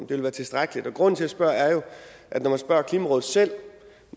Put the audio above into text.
vil være tilstrækkeligt og grunden til at jeg spørger er jo at når man spørger klimarådet selv